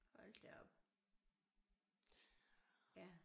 Hold da op ja